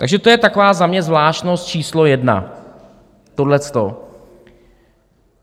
Takže to je taková za mě zvláštnost číslo jedna, tohleto.